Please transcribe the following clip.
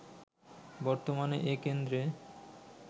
বর্তমানে এ কেন্দ্রে